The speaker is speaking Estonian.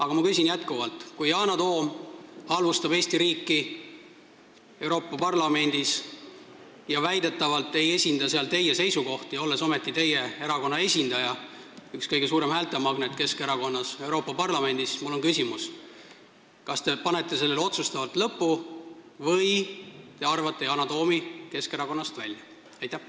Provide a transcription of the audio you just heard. Aga kui Yana Toom halvustab Eesti riiki Euroopa Parlamendis ja väidetavalt ei esinda seal teie seisukohti, olles ometi teie erakonna esindaja Euroopa Parlamendis, üks Keskerakonna kõige suuremaid häältemagneteid, siis mul on küsimus: kas te teete sellele otsustavalt lõpu või te arvate Yana Toomi Keskerakonnast välja?